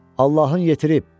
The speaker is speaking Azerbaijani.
Allahın yetirib,